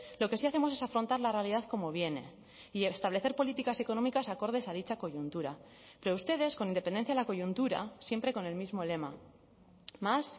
lo que sí hacemos es afrontar la realidad como viene y establecer políticas económicas acordes a dicha coyuntura pero ustedes con independencia de la coyuntura siempre con el mismo lema más